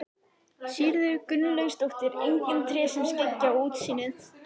Sigríður Gunnlaugsdóttir: Engin tré sem skyggja á útsýnið?